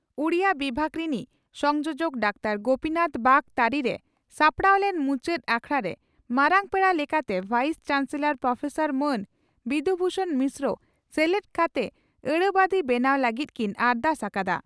ᱩᱰᱤᱭᱟᱹ ᱵᱤᱵᱷᱟᱜᱽ ᱨᱤᱱᱤᱡ ᱥᱚᱱᱡᱚᱡᱚᱠ ᱰᱟᱠᱛᱟᱨᱹ ᱜᱚᱯᱤᱱᱟᱛᱷ ᱵᱟᱜᱽ ᱛᱟᱹᱨᱤᱨᱮ ᱥᱟᱯᱲᱟᱣ ᱞᱮᱱ ᱢᱩᱪᱟᱹᱫ ᱟᱠᱷᱲᱟᱨᱮ ᱢᱟᱨᱟᱝ ᱯᱮᱲᱟ ᱞᱮᱠᱟᱛᱮ ᱵᱷᱟᱭᱤᱥ ᱪᱟᱱᱥᱮᱞᱚᱨ ᱯᱨᱚᱯᱷᱮᱥᱟᱨ ᱢᱟᱱ ᱵᱤᱫᱷᱩ ᱵᱷᱩᱥᱚᱬ ᱢᱤᱥᱨᱚ ᱥᱮᱞᱫ ᱠᱟᱛᱮ ᱟᱹᱲᱟᱹ ᱵᱟᱺᱫᱤ ᱵᱮᱱᱟᱣ ᱞᱟᱹᱜᱤᱫ ᱠᱤᱱ ᱟᱨᱫᱟᱥ ᱟᱠᱟᱫᱼᱟ ᱾